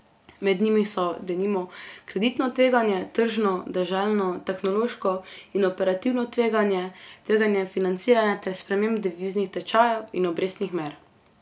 Med njimi so, denimo, kreditno tveganje, tržno, deželno, tehnološko in operativno tveganje, tveganje financiranja ter sprememb deviznih tečajev in obrestnih mer.